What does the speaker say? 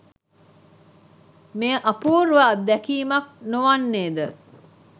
මෙය අපූර්ව අත්දැකීමක් නොවන්නේද?